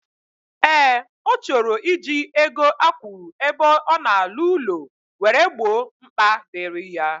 Ee, O choro iji ego akwuru ebe ona alu ulo were gbo mkpa diri ya.